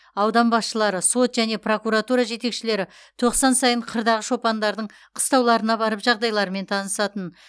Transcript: аудан басшылары сот және прокуратура жетекшілері тоқсан сайын қырдағы шопандардың қыстауларына барып жағдайларымен танысатын